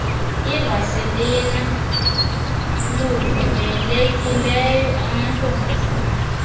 ivasilina luvumelekileyo amantobazana